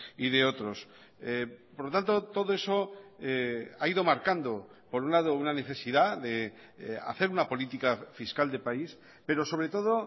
y de otros por lo tanto todo eso ha ido marcando por un lado una necesidad de hacer una política fiscal de país pero sobre todo